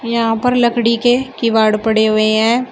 यहां पर लकड़ी के किवाड़ पड़े हुए हैं।